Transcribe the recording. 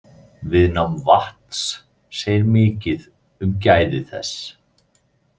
Viðnám vatns segir mikið um gæði þess.